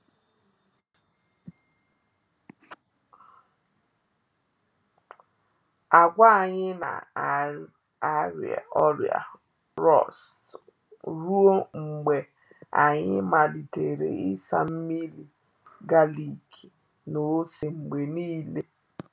Agwa anyị na ari-ọrịa rọst ruo mgbe anyị malitere ịsa nmiri galik na ose mgbe niile.